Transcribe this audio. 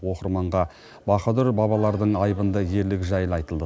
оқырманға баһадүр бабалардың айбынды ерлігі жайлы айтылды